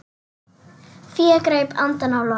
Fía greip andann á lofti.